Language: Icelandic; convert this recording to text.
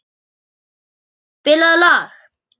Stefán, spilaðu lag.